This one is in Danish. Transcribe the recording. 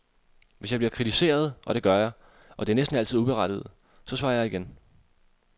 Hvis jeg bliver kritiseret, og det gør jeg, og det er næsten altid uberettiget, så svarer jeg igen.